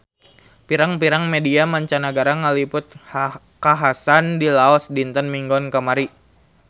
Pirang-pirang media mancanagara ngaliput kakhasan di Laos dinten Minggon kamari